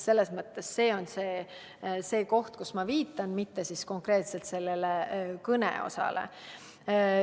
Selles mõttes see on see, millele ma viitan, mitte konkreetselt kõnega seotud osale.